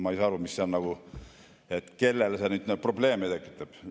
" Ma ei saa aru, kellele see probleeme tekitab.